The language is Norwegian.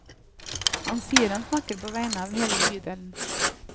Han sier han snakker på vegne av hele bydelen.